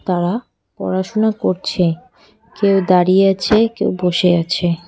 অরা পড়াশুনা করছে কেউ দাঁড়িয়ে আছে কেউ বসে আছে।